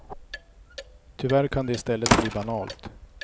Tyvärr kan det i stället bli banalt.